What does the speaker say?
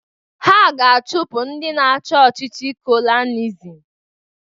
Ha ga-achụpụ ndị na-achị ọchịchị kolonializm